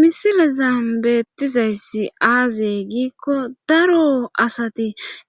Misilezan beettizayssi aazee giikko daro asati